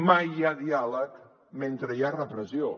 mai hi ha diàleg mentre hi ha repressió